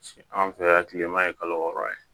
Anw fɛ yan kilema ye kalo wɔɔrɔ ye